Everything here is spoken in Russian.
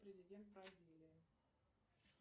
президент бразилии